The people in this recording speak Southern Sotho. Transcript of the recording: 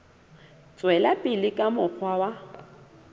tswela pele ka mokgwa wa